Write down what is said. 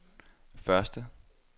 første